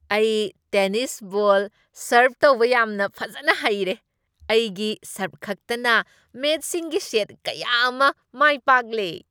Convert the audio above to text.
ꯑꯩ tennis ball ꯁꯔ꯭ꯕ ꯇꯧꯕ ꯌꯥꯝꯅ ꯐꯖꯅ ꯍꯩꯔꯦ꯫ ꯑꯩꯒꯤ ꯁꯔ꯭ꯕꯈꯛꯇꯅ ꯃꯦꯆꯁꯤꯡꯒꯤ ꯁꯦꯠ ꯀꯌꯥ ꯑꯃ ꯃꯥꯏ ꯄꯥꯛꯂꯦ ꯫